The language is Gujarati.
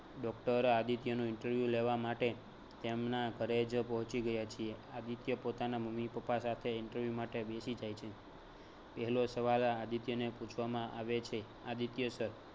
doctor આદિત્યનું interview લેવા માટે તેમના ઘરે જ પોહચી ગયા છીએ. આદિત્ય પોતાના મમ્મી પપ્પા સાથે interview માટે બેસી જાય છે. પહેલો સવાલ આદિત્યને પૂછવામાં આવે છે આદિત્ય sir